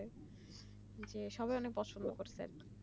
যে সবাই অনেক পছন্দ করছে